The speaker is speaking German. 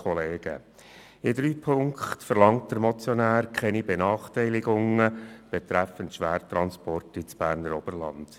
In drei Punkten verlangt der Motionär keine Benachteiligungen der Schwertransporte ins Berner Oberland.